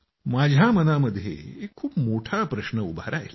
माझ्या मनामध्ये एक खूप मोठा प्रश्न उभा राहिला